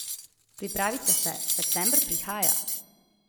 Pripravite se, september prihaja!